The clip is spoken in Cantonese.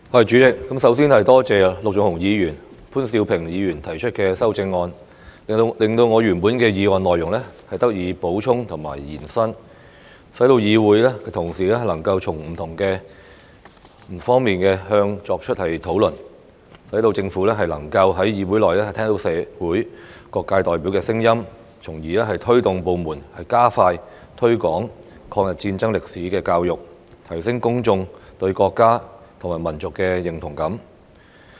主席，首先多謝陸頌雄議員和潘兆平議員提出修正案，令我原本的議案內容得以補充和延伸，使議會同事能夠從不同方面作出討論，讓政府能夠在議會內聽到社會各界代表的聲音，從而推動部門加快推廣抗日戰爭歷史的教育，提升公眾對國家及民族的認同感。